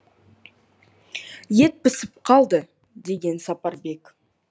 ет пісіп қалды деген сапарбек